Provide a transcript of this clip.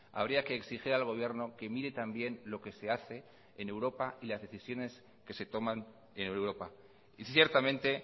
habría que exigir al gobierno que mire también lo que se hace en europa y las decisiones que se toman en europa y ciertamente